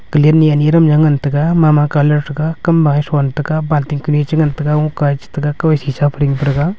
palen niya niram ngun taiga ma ma colour taiga kam bayas onete ga balting kra chu ngan taiga mu kayesh chu shisha param taiga.